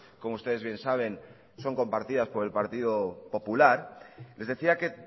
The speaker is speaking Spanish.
como ustedes bien saben son compartidas por el partido popular les decía que